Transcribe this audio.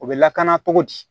U bɛ lakana cogo di